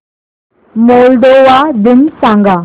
Moldova दिन सांगा